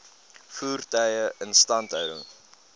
voertuie instandhouding